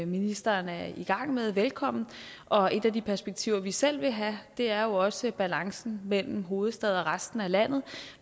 ministeren er i gang med velkommen og et af de perspektiver vi selv vil have er jo også balancen mellem hovedstad og resten af landet